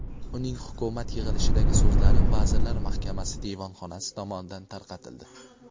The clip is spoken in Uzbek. Uning hukumat yig‘ilishidagi so‘zlari vazirlar mahkamasi devonxonasi tomonidan tarqatildi.